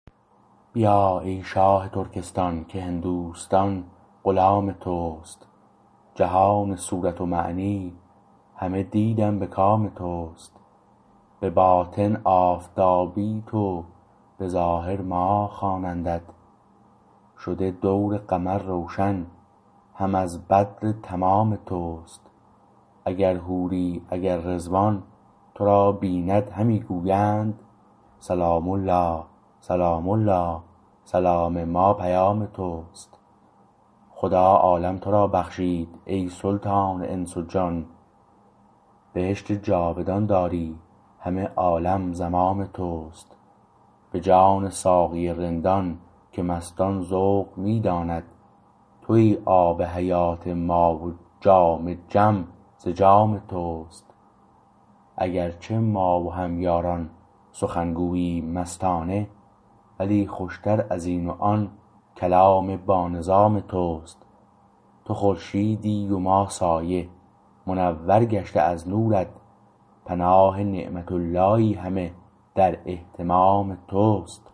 بیا ای شاه ترکستان که هندوستان غلام تست جهان صورت و معنی همه دیدم به کام تست به باطن آفتابی تو به ظاهر ماه خوانندت شده دور قمر روشن هم از بدر تمام تست اگرحوری اگر رضوان تو را بیند همی گویند سلام الله سلام الله سلام ما پیام تست خدا عالم تو را بخشید ای سلطان انس و جان بهشت جاودان داری همه عالم زمام تست به جان ساقی رندان که مستان ذوق می داند تویی آب حیات ما و جام جم ز جام تست اگر چه ما و هم یاران سخن گوییم مستانه ولی خوشتر ازین و آن کلام بانظام تست تو خورشیدی و ما سایه منور گشته از نورت پناه نعمت اللهی همه در اهتمام تست